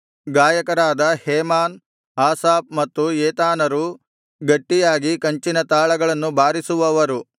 ಗಾಯಕರಾದ Heman Asaph ಮತ್ತು ಏತಾನರು ಗಟ್ಟಿಯಾಗಿ ಕಂಚಿನ ತಾಳಗಳನ್ನು ಬಾರಿಸಿವವರು